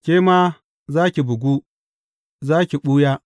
Ke ma za ki bugu, za ki ɓuya.